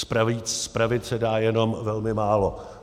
Spravit se dá jenom velmi málo.